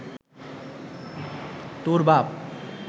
তোর বাপ